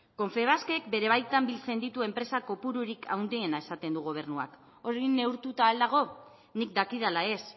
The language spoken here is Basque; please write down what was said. confebaskek bere baitan biltzen dituen enpresa kopururik handiena esaten du gobernuak hori neurtuta al dago nik dakidala ez